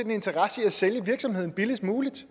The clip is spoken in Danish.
en interesse i at sælge virksomheden billigst muligt